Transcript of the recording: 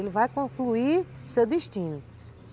Ele vai concluir seu destino.